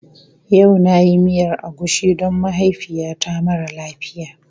Yau na yi miyar agushi don mahaifiyata mara lafiya.